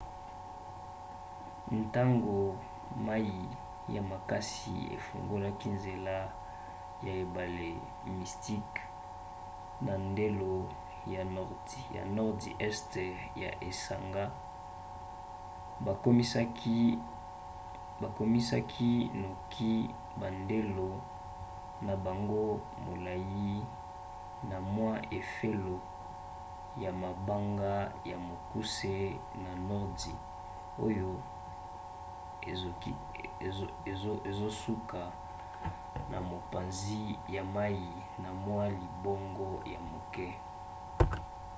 ntango mai ya makasi efungoli nzela na ebale mystic na ndelo ya nordi este ya esanga bakomisaki noki bandelo na bango molai na mwa efelo ya mabanga ya mokuse na nordi oyo ezosuka na mopanzi ya mai na mwa libongo ya moke